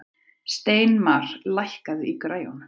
Steinmar, lækkaðu í græjunum.